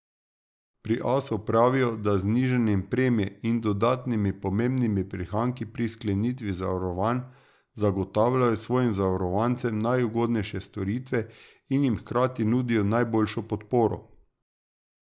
Pri Asu pravijo, da znižanjem premije in dodatnimi pomembni prihranki pri sklenitvi zavarovanj, zagotavljajo svojim zavarovancem najugodnejše storitve in jim hkrati nudijo najboljšo podporo.